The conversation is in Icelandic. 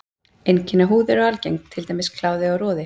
Einkenni á húð eru algeng, til dæmis kláði og roði.